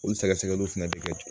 Olu sɛgɛsɛgɛliw fɛnɛ bɛ kɛ